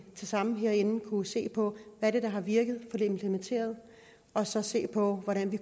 sammen herinde kunne se på hvad der har virket og få det implementeret og så se på hvordan vi